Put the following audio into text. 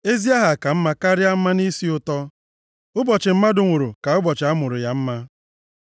Ezi aha + 7:1 \+xt Ilu 22:1\+xt* ka mma karịa mmanụ isi ụtọ. + 7:1 Maọbụ, mmanụ oke ọnụahịa Ụbọchị mmadụ nwụrụ ka ụbọchị a mụrụ ya mma.